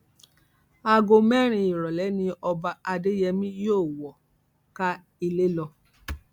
aago mẹrin ìrọlẹ ni ọba adéyèmí yóò wọ káà ilé lọ